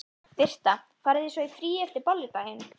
Birta: Farið þið svo í frí eftir Bolludaginn?